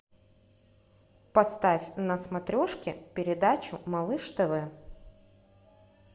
поставь на смотрешке передачу малыш тв